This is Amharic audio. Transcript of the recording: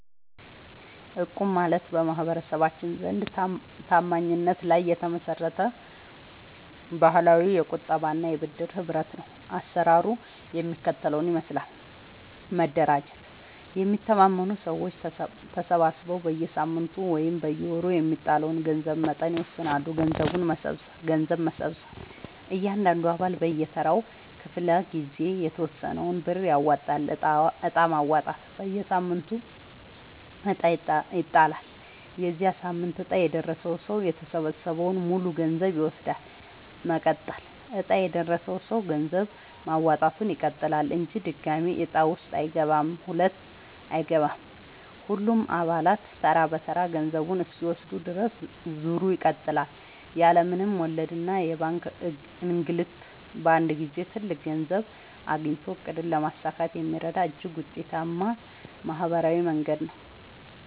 እቁብ ማለት በማህበረሰባችን ዘንድ ታማኝነት ላይ የተመሰረተ ባህላዊ የቁጠባና የብድር ህብረት ነው። አሰራሩ የሚከተለውን ይመስላል፦ መደራጀት፦ የሚተማመኑ ሰዎች ተሰባስበው በየሳምንቱ ወይም በየወሩ የሚጣለውን የገንዘብ መጠን ይወስናሉ። ገንዘብ መሰብሰብ፦ እያንዳንዱ አባል በየተራው ክፍለ-ጊዜ የተወሰነውን ብር ያዋጣል። ዕጣ ማውጣት፦ በየሳምንቱ ዕጣ ይጣላል። የዚያ ሳምንት ዕጣ የደረሰው ሰው የተሰበሰበውን ሙሉ ገንዘብ ይወስዳል። መቀጠል፦ ዕጣ የደረሰው ሰው ገንዘብ ማዋጣቱን ይቀጥላል እንጂ ድጋሚ ዕጣ ውስጥ አይገባም። ሁሉም አባላት ተራ በተራ ገንዘቡን እስኪወስዱ ድረስ ዙሩ ይቀጥላል። ያለ ምንም ወለድና የባንክ እንግልት በአንድ ጊዜ ትልቅ ገንዘብ አግኝቶ ዕቅድን ለማሳካት የሚረዳ እጅግ ውጤታማ ማህበራዊ መንገድ ነው።